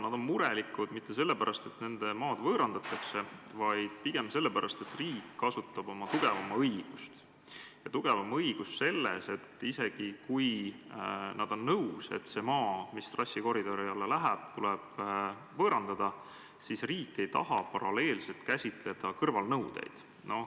Nad ei ole murelikud mitte sellepärast, et nende maad võõrandatakse, vaid pigem sellepärast, et riik kasutab tugevama õigust – tugevama õigust selles mõttes, et isegi kui omanikud on nõus, et see maa, mis trassikoridori alla jääb, tuleb võõrandada, siis riik ei taha paralleelselt käsitleda kõrvalnõudeid.